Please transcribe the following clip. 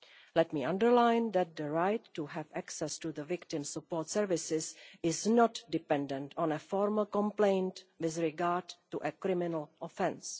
Let me underline that the right to have access to victim support services is not dependent on a formal complaint with regard to a criminal offence.